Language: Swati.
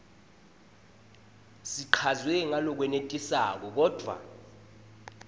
sichazwe ngalokwenetisako kodvwa